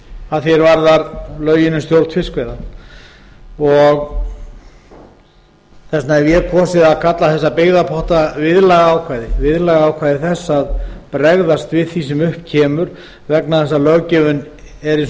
að því er varðar lögin um stjórn fiskveiða og þess vegna hef ég kosið að kalla þessa byggðapotta viðlagaákvæði viðlagaákvæði þess að bregðast við því sem upp kemur vegna þess að löggjöfin er eins og hún er